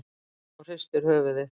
segir hún og hristir höfuðið.